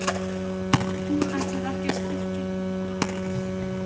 Hún ætlaði ekki að styrkja þeirra brask!